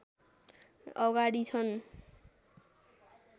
अगाडि छन्